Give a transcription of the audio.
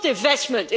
It's not investment